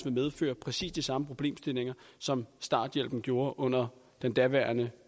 medføre præcis de samme problemstillinger som starthjælpen gjorde under den daværende